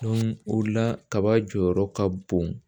o la kaba jɔyɔrɔ ka bon